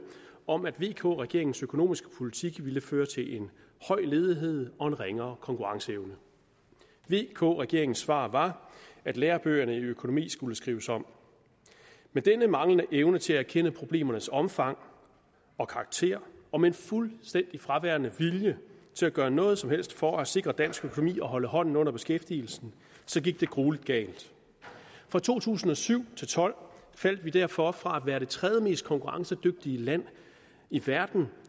om at vk regeringens økonomiske politik ville føre til en høj ledighed og en ringere konkurrenceevne vk regeringens svar var at lærebøgerne i økonomi skulle skrives om med denne manglende evne til at erkende problemernes omfang og karakter og med en fuldstændig fraværende vilje til at gøre noget som helst for at sikre dansk økonomi og holde hånden under beskæftigelsen gik det gruelig galt fra to tusind og syv til tolv faldt vi derfor fra at være det tredjemest konkurrencedygtige land i verden